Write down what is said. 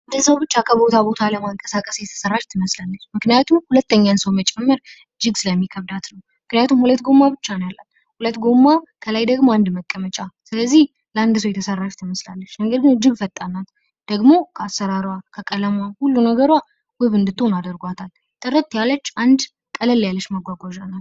አንድ ሰው ብቻ ከቦታ ቦታ ለመንቀሳቀስ የተሰራች ትመስላለች። ምክንያቱም ሁለተኛውን ሰው መጨመር ይከብዳታል፣ ምክንያቱም ሁለት ጎማ ብቻ ነው ያላት፣ ከላይ ደሞ አንድ መቀመጫ ፣ ስለዚህ ለአንድ ሰው ብቻ ነው የተሰራችው፣ ነገር ግን እጅግ ፈጣን ናት ደሞ ከአሰራሩዋ ሁለ ነገሩዋ የምታምር አድርጉዋታል። ደሞ ጥርት ያለች፣ ቅልል ያለች መጉዋጉዋዣ ናት።